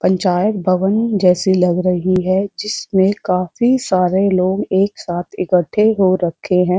पंचायत भवन जैसी लग रही है जिसमें काफी सारे लोग एक साथ इकठे हो रखे हैं।